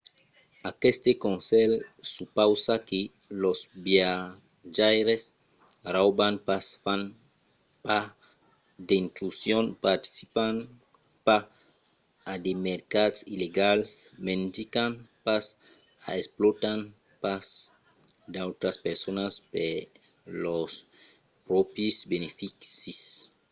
aqueste conselh supausa que los viatjaires rauban pas fan pas d'intrusions participan pas a de mercats illegals mendican pas o explòtan pas d'autras personas per lors pròpris beneficis